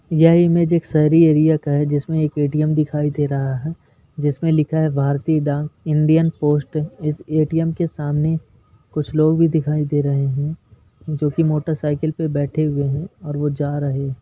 यह इमेज एक शहरी एरिया का है जिसमें एक ए.टी.एम. दिखाई दे रहा है जिसमें लिखा है भारतीय डाक इंडियन पोस्ट इस ए.टी.एम. के सामने कुछ लोग भी दिखाई दे रहें हैं जो की मोटरसाइकिल पे बैठे हुए हैं और वो जा रहें --